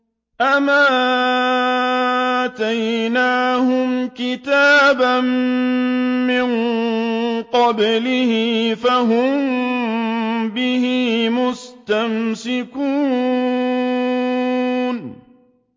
أَمْ آتَيْنَاهُمْ كِتَابًا مِّن قَبْلِهِ فَهُم بِهِ مُسْتَمْسِكُونَ